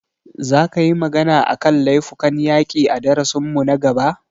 Za ka yi magana a kan laifukan yaƙi a darasin mu na gaba?